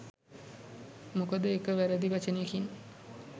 මොකද එක වැරදි වචනයකින්